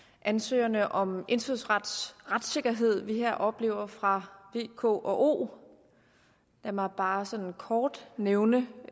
ansøgerne om indfødsrets retssikkerhed som vi her oplever fra v k og o lad mig bare sådan kort nævne